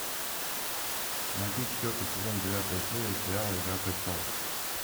найти четвертый сезон девятая серия сериала игра престолов